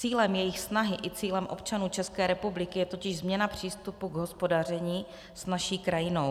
Cílem jejich snahy i cílem občanů České republiky je totiž změna přístupu k hospodaření s naší krajinou.